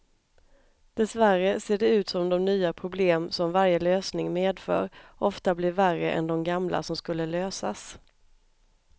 Dessvärre ser det ut som de nya problem som varje lösning medför ofta blir värre än de gamla som skulle lösas.